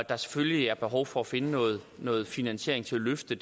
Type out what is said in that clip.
er selvfølgelig behov for at finde noget noget finansiering til at løfte